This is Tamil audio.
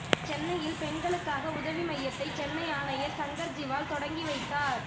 சென்னையில் பெண்களுக்கான உதவி மையத்தை சென்னை ஆணையர் சங்கர் ஜிவால் தொடங்கி வைத்தார்